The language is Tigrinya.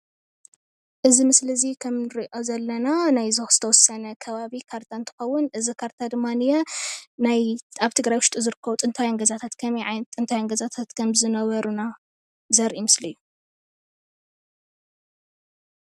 እዚ ምስሊ ከም እንርእዮ ዘለና ናይዞክ ዝተወሰነ ከባቢ ካርታ እንትኸውን እዚ ካርታ እንደማንየ ናይ ኣብ ትግራይ ውሽጢ ዝርከቡ ጥንታውያን ገዛታት ከመይ ዓይነት ጥንታውያን ገዛታት ከምዝነበሩና ዘርኢ ምስሊ እዩ።